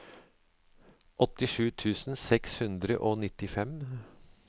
åttisju tusen seks hundre og nittifem